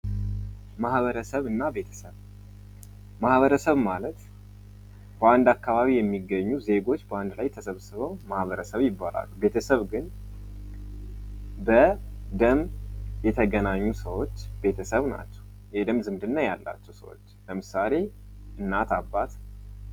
ማህበረሰብና ቤተሰብ፦ ማህበረሰብ ማለት በአንድ አከባቢ የሚገኙ ዜጎች በአንድ ላይ ተሰብስበው ማህበረሰብ ይባላሉ። ቤተሰብ ግን በደም የተገናኙ ሰዎች ቤተተሰብ ናቸው። የደም ዝምድና ያላቸው ሰዎች ለምሳሌ እናት አባት ...